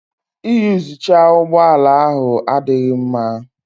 Iyuzucha ụgbọ ala ahụ adịghị mma